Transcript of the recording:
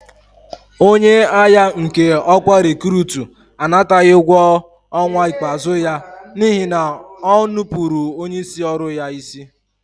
Onye agha nke ọkwa rekurutu anataghị ụgwọ ọnwa ikpeazụ ya n'ihi na o nupụụrụ onyeisi ọrụ ya isi.